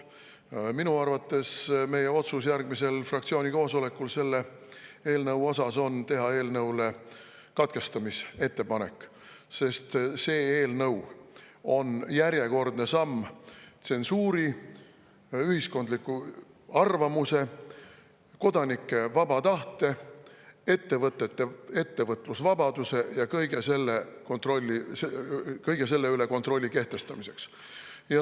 Aga minu arvates meie otsus järgmisel fraktsiooni koosolekul on teha katkestamisettepanek, sest see eelnõu on järjekordne samm tsensuuri poole ning ühiskondliku arvamuse, kodanike vaba tahte, ettevõtete ettevõtlusvabaduse ja kõige selle üle kontrolli kehtestamiseks.